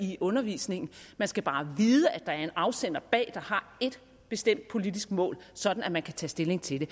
i undervisningen man skal bare vide at der er en afsender bag der har ét bestemt politisk mål sådan at man kan tage stilling til det